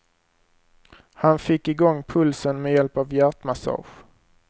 Han fick i gång pulsen med hjälp av hjärtmassage.